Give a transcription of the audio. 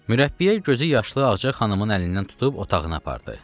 Mürəbbiə gözü yaşlı Ağca xanımın əlindən tutub otağına apardı.